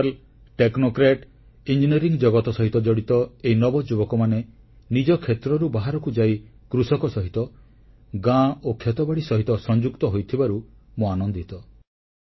ପେଶାଦାର ଓ technocrat engineering ଜଗତ ସହିତ ଜଡ଼ିତ ଏହି ନବଯୁବକମାନେ ନିଜ କ୍ଷେତ୍ରରୁ ବାହାରକୁ ଯାଇ କୃଷକ ସହିତ ଗାଁ ଓ କ୍ଷେତିବାଡ଼ି ସହିତ ସଂଯୁକ୍ତ ହୋଇଥିବାରୁ ମୁଁ ଆନନ୍ଦିତ